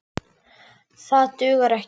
Það dugar ekki.